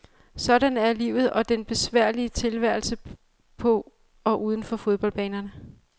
Sådan er livet og den besværlige tilværelse på og uden for fodboldbanerne.